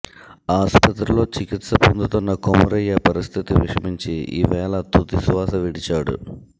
ఆస్పత్రిలో చికిత్స పొందుతున్న కొమురయ్య పరిస్థితి విషమించి ఇవాళ తుది శ్వాస విడిచాడు